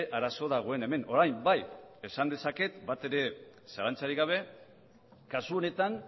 arazo dagoen hemen orain bai esan dezaket batere zalantzarik gabe kasu honetan